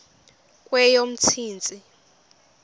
kweyomntsintsi